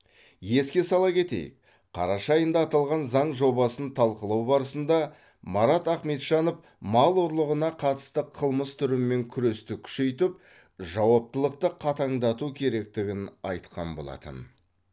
еске сала кетейік қараша айында аталған заң жобасын талқылау барысында марат ахметжанов мал ұрлығына қатысты қылмыс түрімен күресті күшейтіп жауаптылықты қатаңдату керектігін айтқан болатын